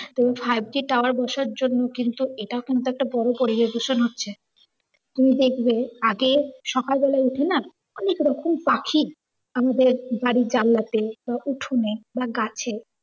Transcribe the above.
তো five G tower বসার জন্য কিন্তু এটা কিন্তু একটা বড় পরিবেশ দূষণ হচ্ছে। তুমি দেখবে আগে সকালবেলায় উঠে না অনেকরকম পাখি আমাদের বাড়ির জানলাতে তারপর উঠোনে বা গাছে